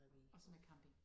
Også med camping?